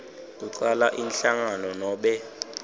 kucala inhlangano nobe